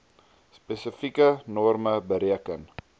spesifieke norme bereken